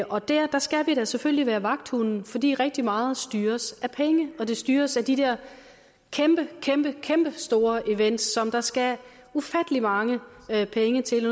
og der skal vi da selvfølgelig være vagthunde fordi rigtig meget styres af penge og det styres af de der kæmpe kæmpe store events som der skal ufattelig mange penge til